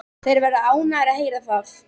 Þeir verða ánægðir að heyra það.